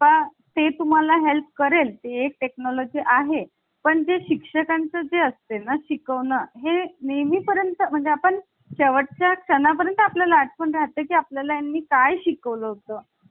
बाबा ते तुम्हाला help करेल ते एक technology आहे ण जे शिक्षकांचे असते ना शिकवणं हे नेहमी पर्यंत म्हणजे आपण शेवटच्या क्षणा पर्यंत आपल्या लाट पण राहते की आपल्या ला आणि काय शिकवलं